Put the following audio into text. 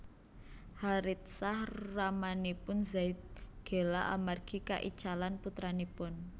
Haritsah ramanipun Zaid gela amargi kaicalan putranipun